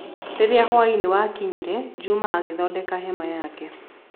Rĩrĩa hwaĩ-inĩ wakinyire, Juma agĩthondeka hema yake.